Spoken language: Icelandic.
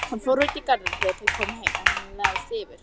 Hún fór út í garð þegar þau komu heim en hann lagðist fyrir.